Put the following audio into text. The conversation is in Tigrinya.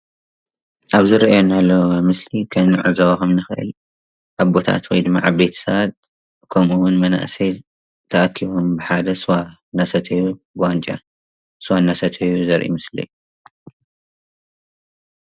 አብዚ ንሪኦ ዘለና ምስሊ ከም እንዕዞቦ ከም እንክእል አቦታት ወይ ከዓ ዓበይቲ ስባት ከምኡ እውን መናእሰይ ተአኪቦም ብሓደ ስዋ እናሰተዩ ብዋንጫ ስዋ እናሰተዩ ዘሪኢ ምስሊ እዩ፡፡